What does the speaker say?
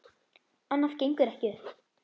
Annað gengur ekki upp.